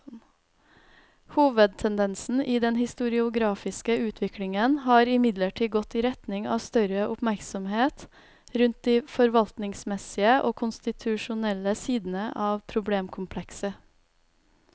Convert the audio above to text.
Hovedtendensen i den historiografiske utviklingen har imidlertid gått i retning av større oppmerksomhet rundt de forvaltningsmessige og konstitusjonelle sidene av problemkomplekset.